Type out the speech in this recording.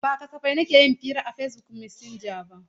Ba kasafai nake yin hira a Facebook masinja ba.